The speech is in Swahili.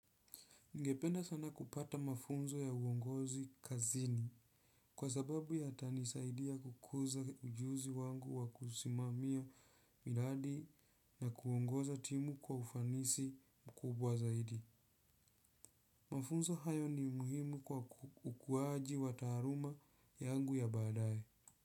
Ningependa sana kupata mafunzo ya uongozi kazini kwa sababu yatanisaidia kukuza ujuzi wangu wa kusimamia miradi na kuongoza timu kwa ufanisi mkubwa zaidi. Mafunzo hayo ni muhimu kwa ukuaji wa taaluma yangu ya baadaye.